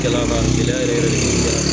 Kɛla kan gɛlɛya yɛrɛ